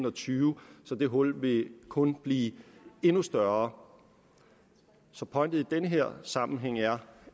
og tyve så det hul vil kun blive endnu større så pointen i den her sammenhæng er